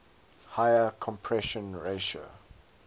higher compression ratio